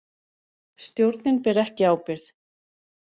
Stjórnin ber ekki ábyrgð